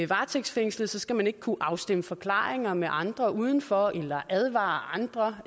varetægtsfængslet skal man ikke kunne afstemme forklaringer med andre udenfor eller advare andre